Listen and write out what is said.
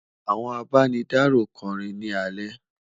àwọn àbá ní daro kò rìn ní ale